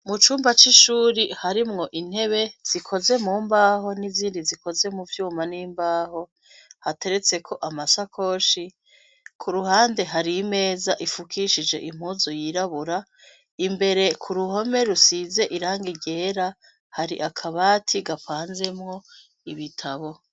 Mu cumba c'ishuri hari mwo intebe zikoze mu mbaho n'izindi zikoze mu vyuma n'imbaho hateretseko amasakoshi ku ruhande hari imeza ifukishije impuzu yirabura imbere ku ruhome rusize iranga iryera hari akabati gapanzemwo ibitamwa.